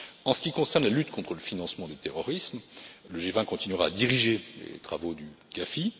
bien. En ce qui concerne la lutte contre le financement du terrorisme, le G20 continuera à diriger les travaux du